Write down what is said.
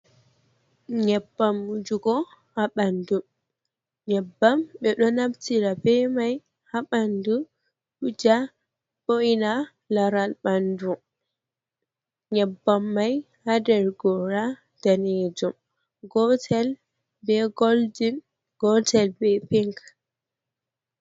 Nyeɓɓam. jugo ha ɓanɗu nyeɓɓam ɓe ɗo naftira ɓe mai ha ɓanɗu. wuja ɓo’ina laral ɓanɗu nyeɓɓam mai Haɗer gora ɗanejum gootel ɓe golɗin, gotel ɓe pink h.